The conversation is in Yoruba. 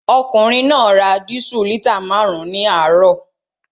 Ọkùnrin náà ra dísù lítà márùn-ún ní àárọ̀